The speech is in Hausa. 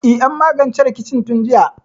E, an magance rikicin tun jiya.